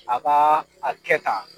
A ka a kɛ tan.